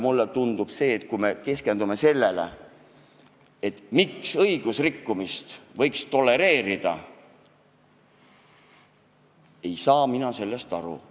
Mulle tundub, et kui me keskendume sellele, et õigusrikkumist võiks tolereerida, siis mina sellest aru ei saa.